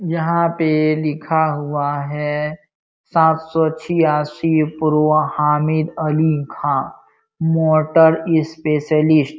यहाँ पे लिखा हुआ है सात सौ छियासी हामिद अली खां मोटर स्पेशलिस्ट ।